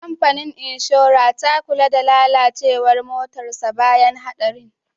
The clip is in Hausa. Kamfanin inshora ta kula da lalacewar motarsa ​​bayan hadarin.